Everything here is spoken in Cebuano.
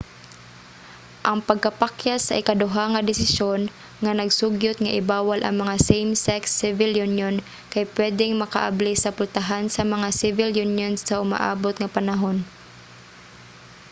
ang pagkapakyas sa ikaduha nga desisyon nga nag-sugyot nga i-bawal ang mga same-sex civil union kay pwedeng makaabli sa pultahan sa mga civil union sa umaabot nga panahon